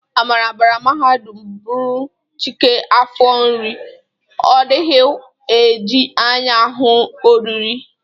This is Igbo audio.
Amara bara mahadum bụrụ Chike afọ nri, ọ dịkwaghị e ji anya ahụ ihe oriri.